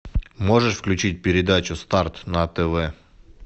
можешь включить передачу старт на тв